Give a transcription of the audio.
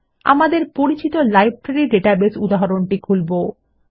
আমরা আমাদের পরিচিত লাইব্রেরী ডাটাবেস উদাহরণটি খুলবো